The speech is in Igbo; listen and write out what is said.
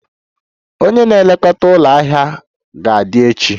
Onye na-elekọta ụlọ ahịa ga-adị echi